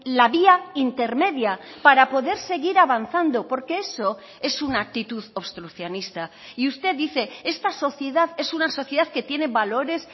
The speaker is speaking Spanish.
la vía intermedia para poder seguir avanzando porque eso es una actitud obstruccionista y usted dice esta sociedad es una sociedad que tiene valores